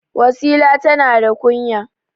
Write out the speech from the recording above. Wasila tana da kunya.